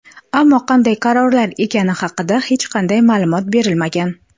Ammo qanday qarorlar ekani haqida hech qanday ma’lumot berilmagan.